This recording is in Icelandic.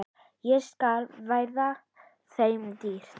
Það skal verða þeim dýrt!